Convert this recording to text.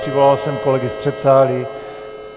Přivolal jsem kolegy z předsálí.